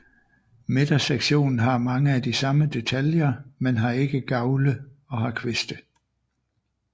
Midtersektionen har mange af de samme detaljer men har ikke gavle og har kviste